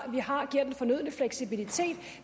vi har giver den fornødne fleksibilitet